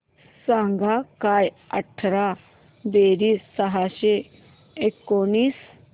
सांग काय अठरा बेरीज सहाशे एकोणीस